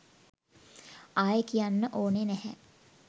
ආයේ කියන්න ඕනේ නැහැ